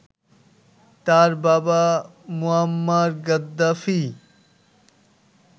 তার বাবা Muammar Gaddafi